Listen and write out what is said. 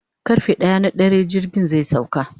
karfe ɗaya na dare jirgin zai sauka